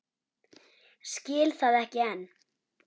Skil það ekki enn.